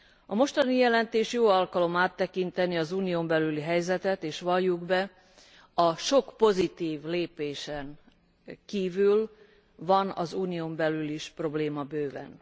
A mostani jelentés jó alkalom áttekinteni az Unión belüli helyzetet, és valljuk be, a sok pozitív lépésen kívül van az Unión belül is probléma bőven.